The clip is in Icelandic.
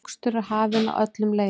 Mokstur er hafin á öllum leiðum